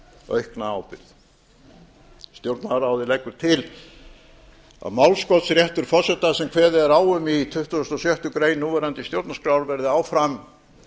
aukna ábyrgð stjórnlagaráðið leggur til að málskotsréttur forseta sem kveðið er á um í tuttugasta og sjöttu grein núverandi stjórnarskrár verði áfram